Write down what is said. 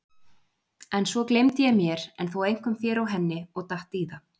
En svo gleymdi ég mér en þó einkum þér og henni og datt í það.